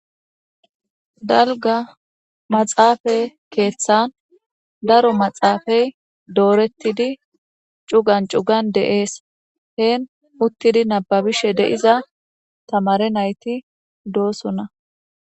dalga maxaafay keeththan daro maxaafay doorettidi cugan cugan de'ees heen uttidi nababishe de'iza tamare nayti doosonna